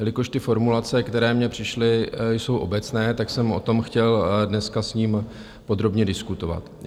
Jelikož ty formulace, které mně přišly, jsou obecné, tak jsem o tom chtěl dneska s ním podrobně diskutovat.